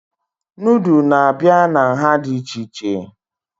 Nudụ na-abịa na nhá dị iche iche